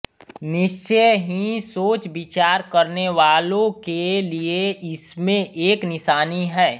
निश्चय ही सोचविचार करनेवालों के लिए इसमें एक निशानी है